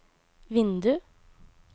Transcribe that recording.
vindu